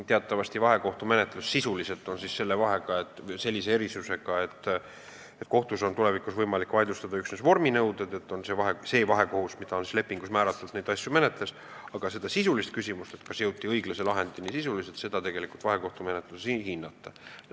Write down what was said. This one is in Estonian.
Teatavasti iseloomustab vahekohtumenetlust see erisus, et kohtus on võimalik vaidlustada üksnes vorminõuded, aga sisulist küsimust, et kas jõuti õiglase lahendini, tegelikult vahekohtumenetluses ei hinnata.